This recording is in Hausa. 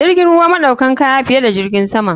Jirgin ruwa naɗaukan kaya fiye da jirgin sama.